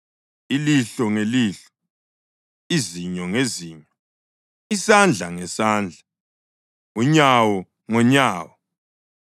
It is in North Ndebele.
ilihlo ngelihlo, izinyo ngezinyo, isandla ngesandla, unyawo ngonyawo.